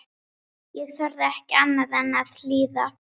Ég þorði ekki annað en að hlýða.